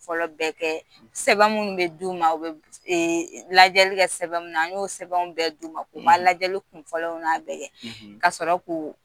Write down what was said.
Fɔlɔ bɛ kɛ sɛbɛn minnu bɛ dun ma lajɛli kɛ sɛbɛn minnu, an y'o sɛbɛnw bɛɛ d'u ma, u ma lajɛli kun fɔlɔnaw bɛ kɛ ka sɔrɔ k'o